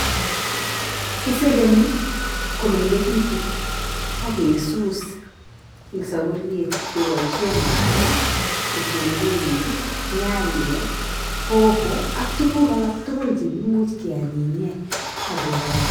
Kisegeni komengekitu ak kesuus eng saburiet keboisie mwaita, kitunguik, nyanyek, hoho ak tuguk alak tugul chekimuuch kianyinye ak kekarang'.